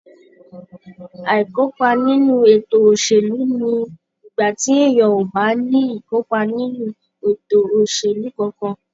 Aikopa nínú ètò òṣèlú ni igbati èèyàn ò bá ní ikopa nínú ètò òṣèlú kánkán.